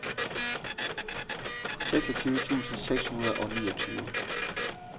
seksogtyve tusind seks hundrede og niogtyve